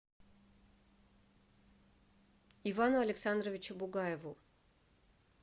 ивану александровичу бугаеву